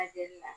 A jeli la